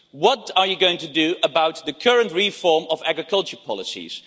What are you going to do about the current reform of agricultural policies?